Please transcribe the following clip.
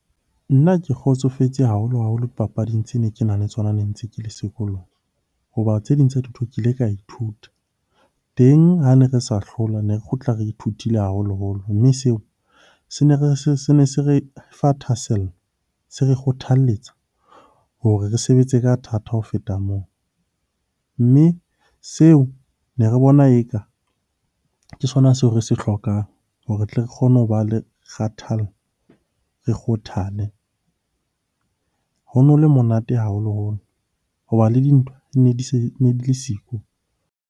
Nna ke kgotsofetse haholo-haholo dipapading tse ne kenang le tsona ne ntse ke le sekolong. Hoba tse ding tsa dintho ke ile ka ithuta, teng ha ne re sa hlola ne kgutla re ithutile haholoholo. Mme seo se ne se re fa thahasello, se re kgothalletsa hore re sebetse ka thata ho feta moo. Mme seo ne re bona eka ke sona seo re se hlokang hore re tle re kgone ho ba le kgathallo, re kgothale. Ho no le monate haholoholo hoba le dintwa di ne di le siko.